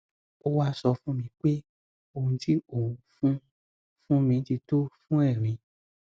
ó wá sọ fún mi pé ohun tí òun fún fún mi ti tó fún erin